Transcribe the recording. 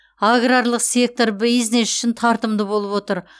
аграрлық сектор бизнес үшін тартымды болып отыр